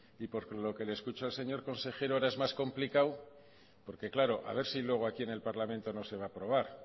y por lo que le escucho al señor consejero ahora es más complicado porque claro a ver si luego aquí en el parlamento no se va a aprobar